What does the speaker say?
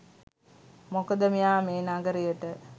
මොකද මෙයා මේ නගරයට